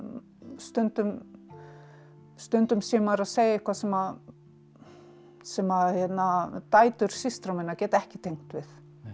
stundum stundum sé maður að segja eitthvað sem sem að dætur systra minna geta ekki tengt við